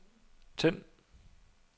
tænd